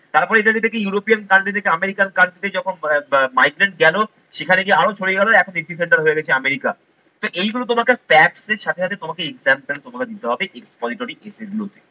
তারপরে এটাকে দেখি European country থেকে American country যখন migrant গেলো সেখানে গিয়ে আরো ছড়িয়ে গেল এখন center হয়ে গেছে আমেরিকা। তো এইগুলো তোমাকে fact এর সাথে সাথে তোমাকে example তোমাকে দিতে হবে expository essay গুলোতে।